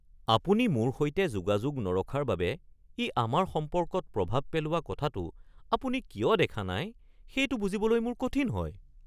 আপুনি মোৰ সৈতে যোগাযোগ নৰখাৰ বাবে ই আমাৰ সম্পৰ্কত প্ৰভাৱ পেলোৱা কথাটো আপুনি কিয় দেখা নাই সেইটো বুজিবলৈ মোৰ কঠিন হয়।